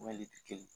Wali tɛ kelen